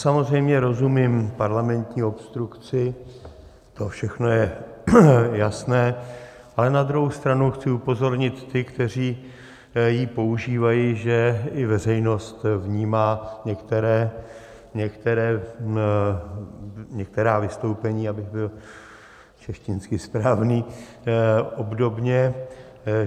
Samozřejmě rozumím parlamentní obstrukci, to všechno je jasné, ale na druhou stranu chci upozornit ty, kteří ji používají, že i veřejnost vnímá některá vystoupení, abych byl češtinářsky správný, obdobně.